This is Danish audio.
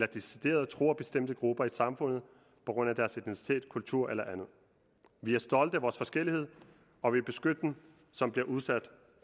decideret truer bestemte grupper i samfundet på grund af deres etnicitet kultur eller andet vi er stolte af vores forskellighed og vil beskytte dem som bliver udsat